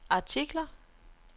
artikler